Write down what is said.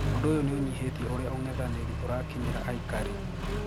ũndũ uyu niunyihitie uria ung'ethaniri urakinyira aikari.